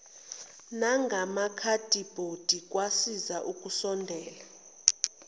nangamakhadibhodi kwasiza ukusondela